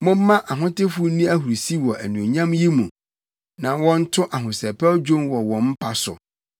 Momma ahotefo nni ahurusi wɔ anuonyam yi mu; na wɔnto ahosɛpɛw dwom wɔ wɔn mpa so.